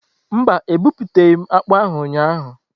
Mba, ebuputaghi m akpu ahu ụnyahụ.